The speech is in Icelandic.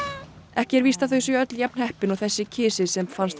ekki er víst að þau séu öll jafn heppin og þessi kisi sem fannst